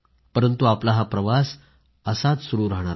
परंतु आपला हा प्रवास असाच सुरू राहणार आहे